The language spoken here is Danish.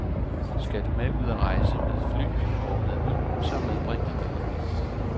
Skal du ud at rejse med fly og med hund, så medbring en lille hund.